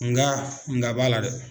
Nga nga b'a la dɛ.